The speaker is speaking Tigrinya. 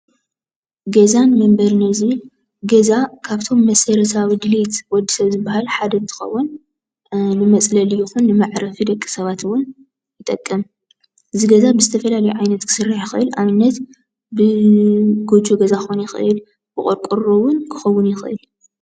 ገዛን መንበርን እዩ። ዝብል ገዛ ካብቶም መሰረታዊ ድሌት ወድሰብ ዝበሃል ሓደ እንትከውን ንመፅለሊ ይኩን ንመዕረፊ ደቂ ሰባት እውን ይጠቅም፡፡ እዚ ገዛ ብዝተፈላለየ ዓይነት ክስራሕ ይክእል ኣብነት ብጎጆክኮን ገዛ ይክእል ብቆርቆሮ ክኸውን ይክእል፡፡